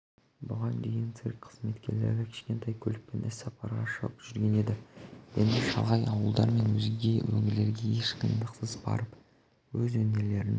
бұған дейін цирк қызметкерлері кішкентай көлікпен іссапарға шығып жүрген еді енді шалғай ауылдар мен өзге өңірлерге еш қиындықсыз барып өз өнерлерін